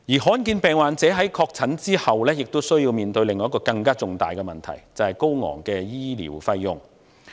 罕見疾病患者在確診後也需要面對另一個更重大的問題：高昂的醫療費用。